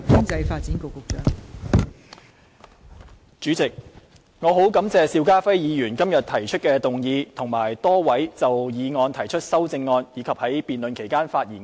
代理主席，我很感謝邵家輝議員今天提出議案，亦很感謝多位議員就議案提出修正案或在辯論期間發言。